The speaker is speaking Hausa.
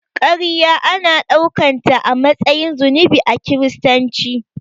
Karya ana daukanta a matsayin zunubi a kiristanci.